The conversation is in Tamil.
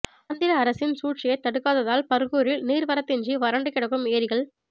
ஆந்திர அரசின் சூழ்ச்சியை தடுக்காததால் பர்கூரில் நீர் வரத்தின்றி வறண்டு கிடக்கும் ஏரிகள்